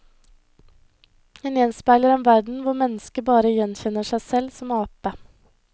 Den gjenspeiler en verden hvor mennesket bare gjenkjenner seg selv som ape.